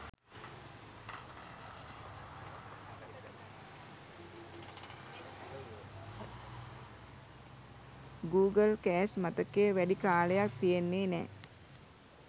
Google crash මතකය වැඩි කාලයක් තියෙන්නේ නෑ.